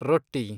ರೊಟ್ಟಿ